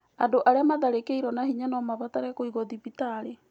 Andũ arĩa matharĩkĩirwo na hinya no mabarate kũigwo thibitarĩ.